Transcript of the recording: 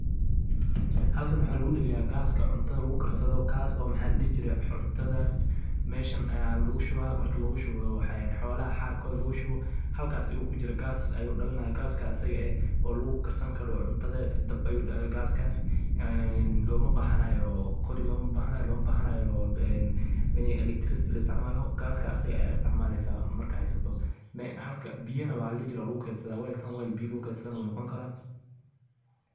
Halkan waxaa lugu dhaliya gaska cuntada lugu karsado kaaso maxa ladhihi jire cuntadaas meshan aya lugu shubaa, markii lugu shubo xolaha xarkooda lugu shubo halkaas ayu kujiri, gaas ayu dhalina gaska asaga eh oo lugu karsan karo cuntada dab ayu dhala gaskaas en loma bahanayo qori, loma bahanayo ini electricity la isticmaalo asaga aya isticmaaleysa marka haysato, biyana maxa ladhihi jire waa lugu kedsada, welkan wel biya lugu kedsado na wuu noqon karaa